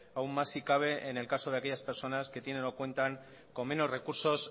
aún más si cabe en el caso de aquellas personas que tienen o cuenta con menos recursos